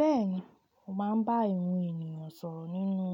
Bẹ́ẹ̀ni, mo máa ń bá ìrun ènìyàn sọ̀rọ̀ nínú